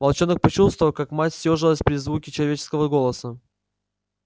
волчонок почувствовал как мать съёжилась при звуке человеческого голоса